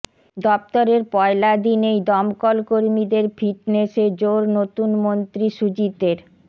দফতরের পয়লা দিনেই দমকল কর্মীদের ফিটনেসে জোর নতুন মন্ত্রী সুজিতের